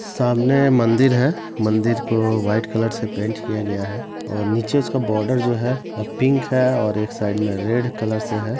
सामने मंदिर है। मंदिर को वाइट कलर से पेंट किया गया है और नीचे उसका बार्डर जो है पिंक है और एक साइड मे रेड कलर से है।